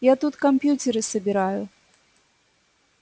я тут компьютеры собираю